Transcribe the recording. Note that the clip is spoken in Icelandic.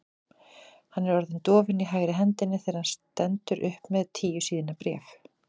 Hann er orðinn dofinn í hægri hendinni þegar hann stendur upp með tíu síðna bréf.